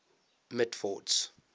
mitford's